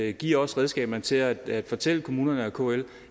at give os redskaberne til at at fortælle kommunerne og kl